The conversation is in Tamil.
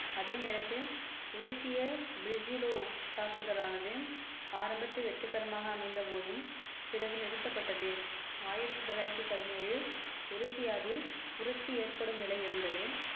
அதே நேரத்தில் குடிசிய பிரிசிலோ தாக்குதலானது ஆரம்பத்தில் வெற்றிகரமாக அமைந்த போதும் பிறகு நிறுத்தப்பட்டது ஆயிரத்தி தொள்ளாயிரத்தி பதினேழில் ஒரிசியாவில் புரட்சி ஏற்படும் நிலை இருந்தது